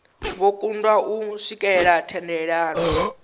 vho kundwa u swikelela thendelano